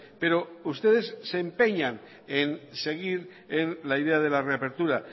pero ustedes se empeñan en seguir en la idea de la reapertura